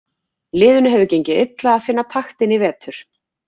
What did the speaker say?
Liðinu hefur gengið illa að finna taktinn í vetur.